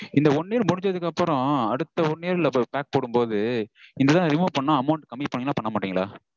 இந்த one year முடிஞ்சதுக்கப்பறம் அடுத்த one year ல இப்போ pack போடும்போது இந்த இத remove பண்ணா amount கம்மி பண்ணுவீங்களா பண்ணா மாட்டீங்களா?